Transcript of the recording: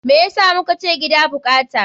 Me yasa mukace gida bukata?